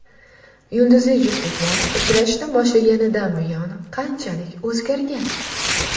Yulduzli juftliklar uchrashishni boshlaganidan buyon qanchalik o‘zgargan?